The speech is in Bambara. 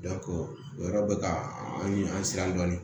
o yɔrɔ bɛ ka an ɲun an siran dɔɔni